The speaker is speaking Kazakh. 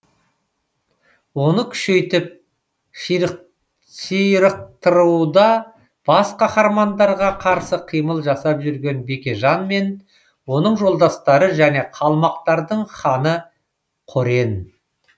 оны күшейтіп ширықтыруда бас қаһармандарға қарсы қимыл жасап жүрген бекежан мен оның жолдастары және қалмақтардың ханы қорен